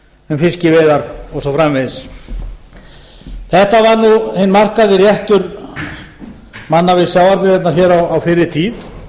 um fiskiveiðar og svo framvegis þetta var hinn markaði réttur manna við sjávarbyggðirnar á fyrri tíð